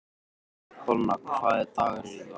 Donna, hvaða dagur er í dag?